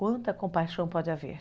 Quanta compaixão pode haver?